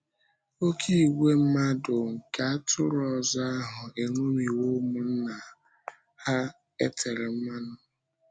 Oké ìgwè mmadụ nke atụrụ ọzọ ahụ eṅomiwo ụmụnna ha e tere mmanụ.